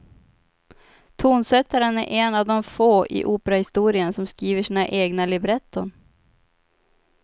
Tonsättaren är en av de få i operahistorien som skriver sina egna libretton.